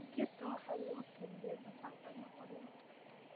digirta waxaa lagu kariyaa dhuxul ama qoryo